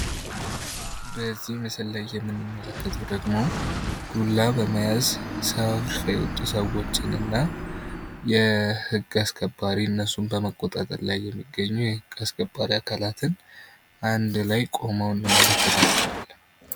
በዚህ ምስል ላይ የምንመለከተው ደግሞ ዱላ በመያዝ ሰልፍ የወጡ ሰዎች እና የህግ አስከባሪ እነሱን በመቆጣጠር ላይ የሚገኙ የህግ አስከባሪ አካላት አንድ ላይ ቆመው እንመለከታቸዋለን።